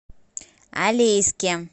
алейске